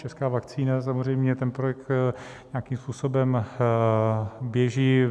Česká vakcína - samozřejmě, ten projekt nějakým způsobem běží.